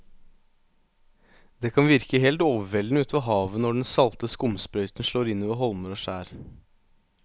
Det kan virke helt overveldende ute ved havet når den salte skumsprøyten slår innover holmer og skjær.